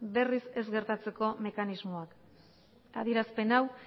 berriz ez gertatzeko mekanismoak adierazpen hau